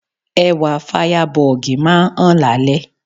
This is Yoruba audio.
Ẹwà Fáyábọọ̀gì máa ń hàn lálẹ́.